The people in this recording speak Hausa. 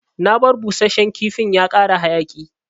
Na bar busashen kifin ya kara hayaki.